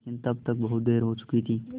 लेकिन तब तक बहुत देर हो चुकी थी